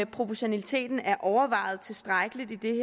proportionaliteten er overvejet tilstrækkeligt i det